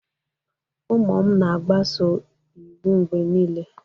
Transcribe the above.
Ụmụ m na-agbaso iwu mgbe niile.